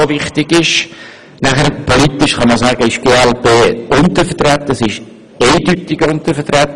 Aus Sicht des Parteienproporzes ist die glp eindeutig untervertreten.